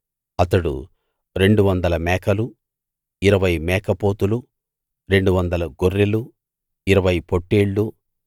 అతడు రెండువందల మేకలూ ఇరవై మేక పోతులూ రెండువందల గొర్రెలూ ఇరవై పొట్టేళ్ళూ